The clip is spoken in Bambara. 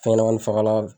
Fɛnɲɛnɛmanin fagalan